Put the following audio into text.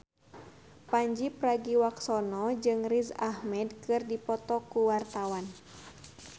Pandji Pragiwaksono jeung Riz Ahmed keur dipoto ku wartawan